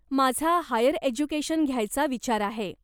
माझा higher education घ्यायचा विचार आहे.